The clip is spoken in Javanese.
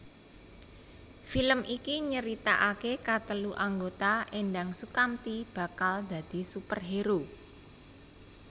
Film iki nyeritakake katelu anggota Endang Soekamti bakal dadi superhero